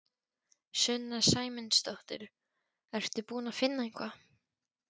Sunna Sæmundsdóttir: Ertu búin að finna eitthvað?